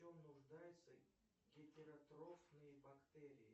в чем нуждаются гетеротрофные бактерии